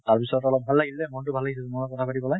তাৰ পিছত অলপ ভাল লাগিল দে মন তো ভাল লাগিছে তোমাৰ লগত কথা পাতি পালে